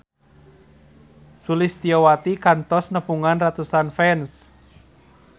Sulistyowati kantos nepungan ratusan fans